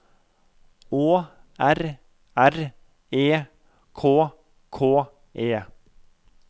Å R R E K K E